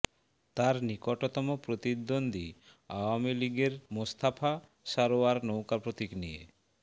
তার নিকটতম প্রতিদ্বন্দ্বী আওয়ামী লীগের মোস্তফা সরোয়ার নৌকা প্রতীক নিয়ে